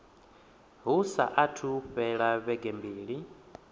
hu saathu fhela vhege mbili